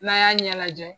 N'a y'a ɲɛ lajɛ